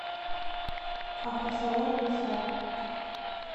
автосалон гусар